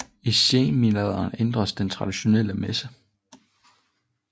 I senmiddelalderen ændredes den traditionelle messe